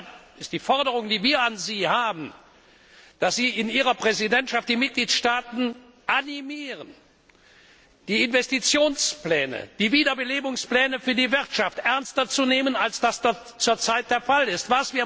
Deshalb ist die Forderung, die wir an Sie stellen, dass Sie in Ihrer Präsidentschaft die Mitgliedstaaten animieren, die Investitionspläne, die Wiederbelebungspläne für die Wirtschaft ernster zu nehmen, als dies derzeit der Fall ist.